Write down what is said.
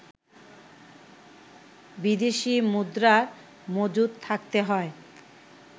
বিদেশি মুদ্রার মজুদ থাকতে হয়